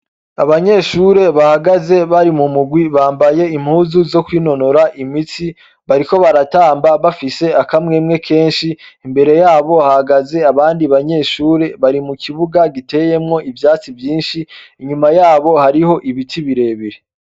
Abanyeshure bahagaze bari mu murwi bambaye impuzu zo kwinonora imitsi, bariko baratamba bafise akamwemwe kenshi, imbere yabo hahagaze abandi banyeshure bari mu kibuga giteyemwo ivyatsi vyinshi, inyuma yabo hari ho ibiti birebire.